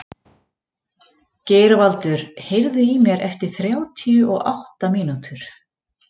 Geirvaldur, heyrðu í mér eftir þrjátíu og átta mínútur.